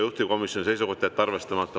Juhtivkomisjoni seisukoht: jätta arvestamata.